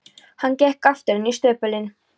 Hann gekk aftur inn í stöpulinn.